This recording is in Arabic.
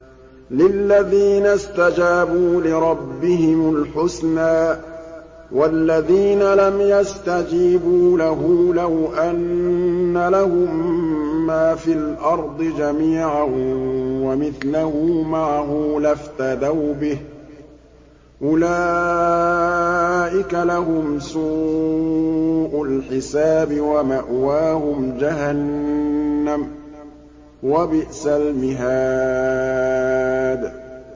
لِلَّذِينَ اسْتَجَابُوا لِرَبِّهِمُ الْحُسْنَىٰ ۚ وَالَّذِينَ لَمْ يَسْتَجِيبُوا لَهُ لَوْ أَنَّ لَهُم مَّا فِي الْأَرْضِ جَمِيعًا وَمِثْلَهُ مَعَهُ لَافْتَدَوْا بِهِ ۚ أُولَٰئِكَ لَهُمْ سُوءُ الْحِسَابِ وَمَأْوَاهُمْ جَهَنَّمُ ۖ وَبِئْسَ الْمِهَادُ